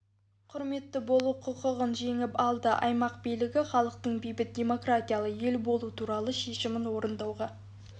құрметті болу құқығын жеңіп алды аймақ билігі халықтың бейбіт демократиялы ел болу туралы шешімін орындауға